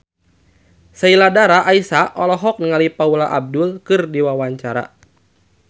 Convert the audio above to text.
Sheila Dara Aisha olohok ningali Paula Abdul keur diwawancara